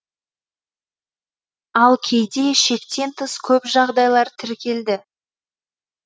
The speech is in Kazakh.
ал кейде шектен тыс көп жағдайлар тіркелді